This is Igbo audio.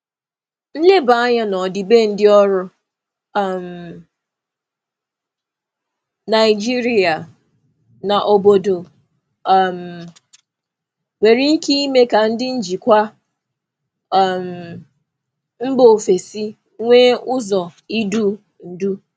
Nleba anya n'ọdịbendị ọrụ um Naijiria na obodo um nwere ike ime ka ndị njikwa um mba ofesi nwee ụzọ idu ndú.